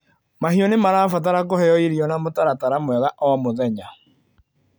Mahiũ nĩmarabatara kũheo irio na mũtaratara mwega o mũthenya.